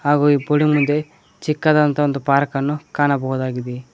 ಹಾಗು ಈ ಮುಂದೆ ಚಿಕ್ಕದಾದಂತ ಒಂದು ಪಾರ್ಕನ್ನು ಕಾಣಬಹುದಾಗಿದೆ.